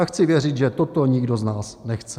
A chci věřit, že toto nikdo z nás nechce.